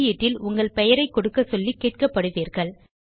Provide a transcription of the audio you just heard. வெளியீட்டில் உங்கள் பெயரை கொடுக்க சொல்லி கேட்கப்படுவீர்கள்